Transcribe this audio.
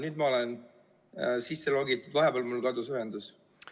Nüüd ma olen sisse logitud, vahepeal mul kadus ühendus.